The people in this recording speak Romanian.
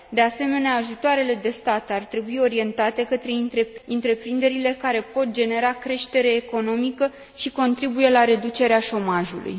De asemenea, ajutoarele de stat ar trebui orientate către întreprinderile care pot genera creștere economică și contribuie la reducerea șomajului.